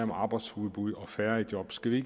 med arbejdsudbud og færre i job skal vi